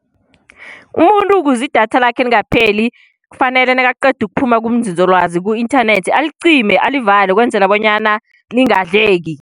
Umuntu ukuze idatha lakhe lingapheli, kufanele nakaqeda ukuphuma kunzinzolwazi ku-inthanethi alicime, alivale ukwenzela bonyana lingadleki.